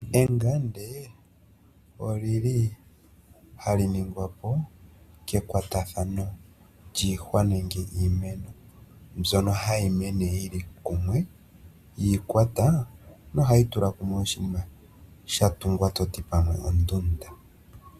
Engande olyili hali ningwa po kekwatathano lyiihwa nenge lyiimeno mbyono hayi mene yili kumwe yiikwata nohayi tula kumwe oshiima shatungwa toti pamwe ontunda.